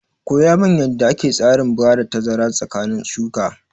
Koya min yanda ake tsarin bada tazara tsakanin shuka!